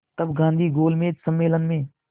तब गांधी गोलमेज सम्मेलन में